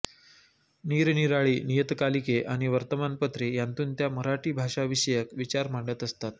निरनिराळी नियतकालिके आणि वर्तमानपत्रे यांतून त्या मराठी भाषाविषयक विचार मांडत असतात